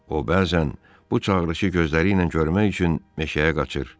O bəzən bu çağırışı gözləri ilə görmək üçün meşəyə qaçır.